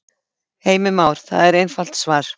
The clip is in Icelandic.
Heimir Már: Það er einfalt svar?